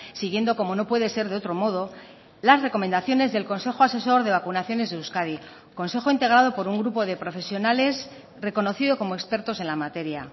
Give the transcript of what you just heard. siguiendo como no puede ser de otro modo las recomendaciones del consejo asesor de vacunaciones de euskadi consejo integrado por un grupo de profesionales reconocido como expertos en la materia